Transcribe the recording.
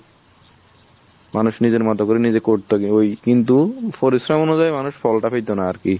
মানুষ নিজের মতো করে নিজে করতো কিন্তু ওই কিন্তু পরিশ্রম অনুযায়ী মানুষ ফলটা পেত না আরকি।